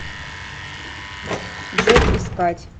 джет искать